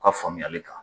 U ka faamuyali kan